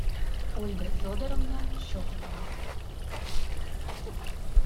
ольга федоровна щекотова